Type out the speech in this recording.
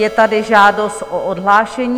Je tady žádost o odhlášení.